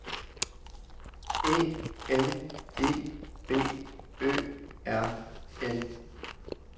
E N E B Ø R N